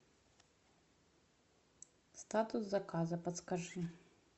статус заказа подскажи